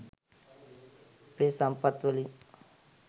අපේ සම්පත්වලින්